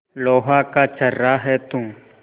लोहा का छर्रा है तू